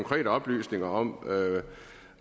kan oplyse mig om